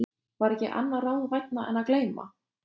var ekki annað ráð vænna en að gleyma.